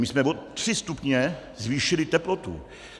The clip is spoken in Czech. My jsme o tři stupně zvýšili teplotu!